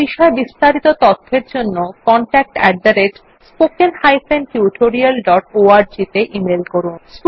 এই বিষয় বিস্তারিত তথ্যের জন্য contactspoken tutorialorg তে ইমেল করুন